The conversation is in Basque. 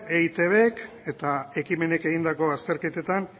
eitbk eta ekimenek egindako azterketetan